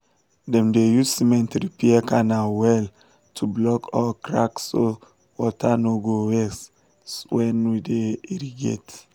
dem dey use cement repair canal well to block all cracksso water no go waste when we dey irrigate